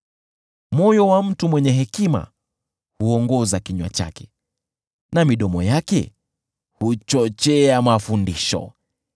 Moyo wa mtu mwenye hekima huongoza kinywa chake, na midomo yake huchochea mafundisho.